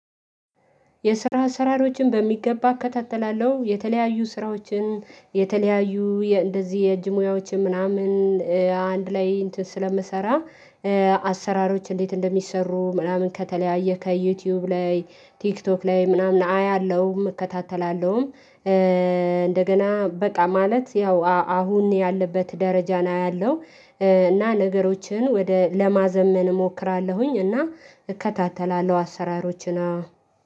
የስራ አሰራሮችን በሚገባ እከታተላለሁ የተለያዩ ስራዎችን የተለያዩ እንደዚህ የእጅ ሙያዎች ምናምን አንድ ላይ እንትን ስለምሰራ አሰራሮች እንዴት እንደሚሰሩ ምናምን ከተለያየ ከዩቲዩብ ላይ ቲክቶክ ላይ ምናምን አያለሁም እከታተላለሁም። እንደገና በቃ ማለት ያው አሁን ያለበት ደረጃን አያለሁ እና ነገሮችን ወደ ለማዘመን እሞክራለሁኝ። እና እከታተላለሁ አሰራሮችን አዎ